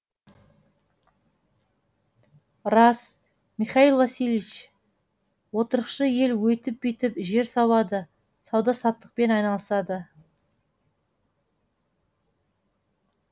рас михаил васильевич отырықшы ел өйтіп бүйтіп жер сауады сауда саттықпен айналысады